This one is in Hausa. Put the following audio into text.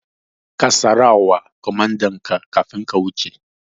Ka sara wa kwamandanka kafin ka wuce